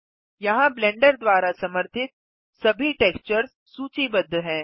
यहाँ ब्लेंडर द्वारा समर्थित सभी टेक्सचर्स सूचीबद्ध हैं